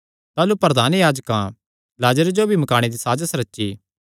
ताह़लू प्रधान याजकां लाजरे जो भी मकाणे दी साजस रची